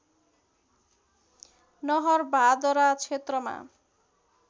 नहरभादरा क्षेत्रमा